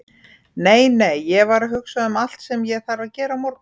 Nei, nei, ég var að hugsa um allt sem ég þarf að gera á morgun.